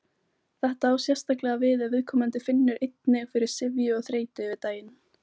Þetta á sérstaklega við ef viðkomandi finnur einnig fyrir syfju og þreytu yfir daginn.